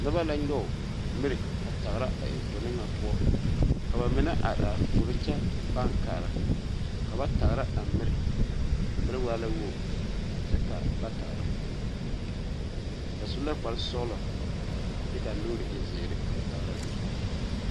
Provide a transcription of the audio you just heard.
Noba la nyɔge miri a tagra a enfoɔne ŋa poɔ ka ba mine a are are puoro kyɛ paaŋ kaara ka ba tagra a miri a miri waa la wogi kyɛ ka ba tagra ba su la kparesɔglɔ kyɛ ka a nuuri e ziiri ka ba tagra a miri.